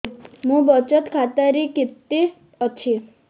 ମୋ ବଚତ ଖାତା ରେ କେତେ ଅଛି